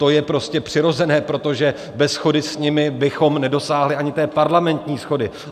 To je prostě přirozené, protože bez shody s nimi bychom nedosáhli ani té parlamentní shody.